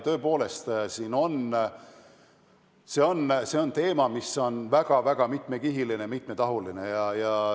Tõepoolest, see on teema, mis on väga mitmekihiline ja mitmetahuline.